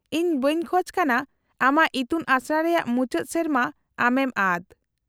-ᱤᱧ ᱵᱟᱹᱧ ᱠᱷᱚᱡᱽ ᱠᱟᱱᱟ ᱟᱢᱟᱜ ᱤᱛᱩᱱ ᱟᱥᱲᱟ ᱨᱮᱭᱟᱜ ᱢᱩᱪᱟᱹᱫ ᱥᱮᱨᱢᱟ ᱟᱢᱮᱢ ᱟᱫ ᱾